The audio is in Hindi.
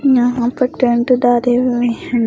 यहां पर टेंट डाले रहे हैं।